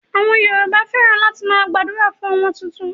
Àwọn Yorùbá fẹ́ràn láti máa gbàdúrà fún ọmọ tuntun.